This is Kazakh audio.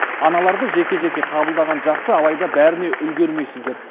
аналарды жеке жеке қабылдаған жақсы алайда бәріне үлгермейсіздер